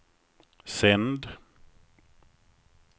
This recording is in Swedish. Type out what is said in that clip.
sänd